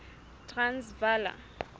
transvala